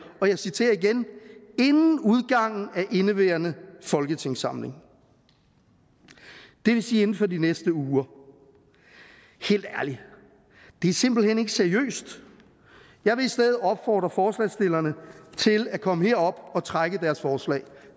og jeg citerer igen inden udgangen af indeværende folketingssamling det vil sige inden for de næste uger helt ærligt det er simpelt hen ikke seriøst jeg vil i stedet opfordre forslagsstillerne til at komme herop og trække deres forslag